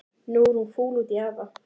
Nú er hún fúl út í afa.